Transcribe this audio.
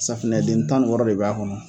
Safunɛ den tan ni wɔɔrɔ de b'a kɔnɔ.